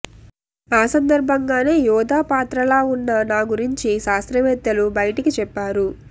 ఆ సందర్భంగానే యోధ పాత్రలా ఉన్న నా గురించి శాస్త్రవేత్తలు బయటకి చెప్పారు